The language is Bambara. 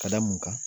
Ka da mun kan